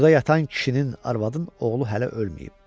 Burda yatan kişinin, arvadın, oğlu hələ ölməyib.